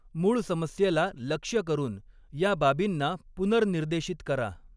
मूळ समस्येला लक्ष्य करून या बाबींना पुनर्निर्देशित करा.